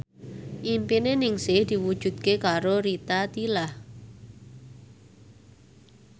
impine Ningsih diwujudke karo Rita Tila